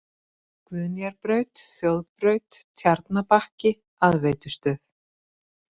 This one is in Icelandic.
Guðnýjarbraut, Þjóðbraut, Tjarnabakki, Aðveitustöð